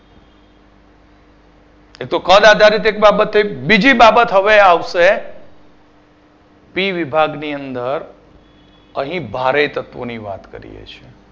એ તો કદ આધારિત એક બાબત થઈ બીજી બાબત હવે આવશે પી વિભાગ ની અંદર અહી ભારે તત્વો ની વાત કરીએ છીએ